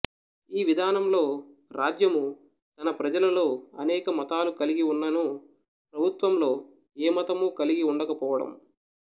ఈ విధానంలో రాజ్యము తన ప్రజలలో అనేక మతాలు కలిగివున్ననూ ప్రభుత్వంలో ఏమతమూ కలిగి వుండక పోవడం